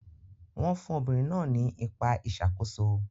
Wọ́n fún obìnrin náà ní ipa ìṣàkóso.